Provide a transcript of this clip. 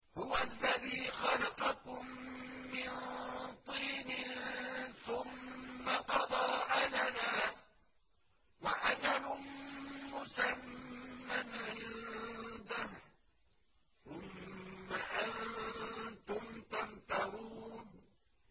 هُوَ الَّذِي خَلَقَكُم مِّن طِينٍ ثُمَّ قَضَىٰ أَجَلًا ۖ وَأَجَلٌ مُّسَمًّى عِندَهُ ۖ ثُمَّ أَنتُمْ تَمْتَرُونَ